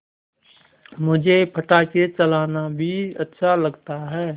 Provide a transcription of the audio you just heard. मुझे पटाखे चलाना भी अच्छा लगता है